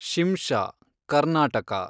Shimsha (Karnataka)